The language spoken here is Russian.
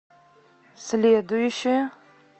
следующая